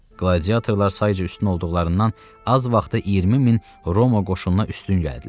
Qladiatorlar sayıca üstün olduqlarından az vaxta 20 min Roma qoşununa üstün gəldilər.